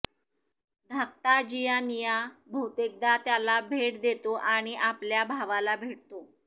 धाकटा जियानिया बहुतेकदा त्याला भेट देतो आणि आपल्या भावाला भेटतो